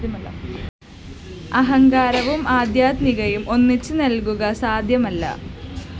അഹങ്കാരവും ആദ്ധ്യാത്മികതയും ഒന്നിച്ച് നില്‍ക്കുക സാദ്ധ്യമല്ല